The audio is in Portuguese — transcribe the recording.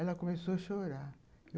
Ela começou a chorar.